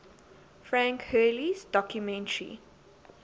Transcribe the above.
frank hurley's documentary